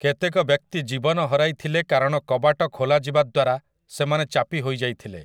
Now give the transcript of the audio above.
କେତେକ ବ୍ୟକ୍ତି ଜୀବନ ହରାଇଥିଲେ କାରଣ କବାଟ ଖୋଲାଯିବା ଦ୍ୱାରା ସେମାନେ ଚାପି ହୋଇଯାଇଥିଲେ ।